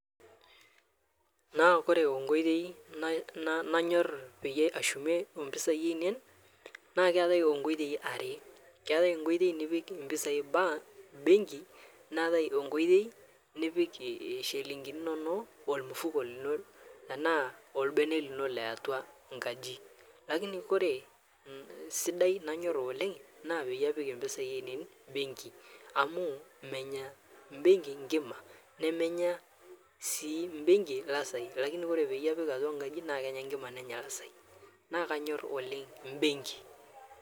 Naa kore onkoitei nanyor peyie ashumie empisai ainen naa keatai onkoitei aree keatai nkoitei nipik mpisai bank bengi neatai onkoitei nipik shilinginii inonoo olmufukoo linoo tanaa olbenee linoo leatua nkajii lakini kore sidai nanyor oleng naa peyie apik mpisai ainen bengi amuu menyaa bengi nkimaa nemenyaa sii bengi lazai lakini kore peiye apik atua nkaji naa kenya nkima nenya lazai, naa kanyor oleng' mbeng'i